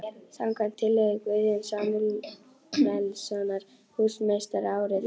. samkvæmt tillögu Guðjóns Samúelssonar húsameistara árið